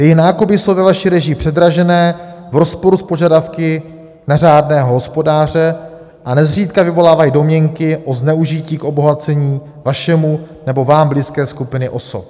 Její nákupy jsou ve vaší režii předražené, v rozporu s požadavky na řádného hospodáře a nezřídka vyvolávají domněnky o zneužití k obohacení vašemu nebo vám blízké skupiny osob.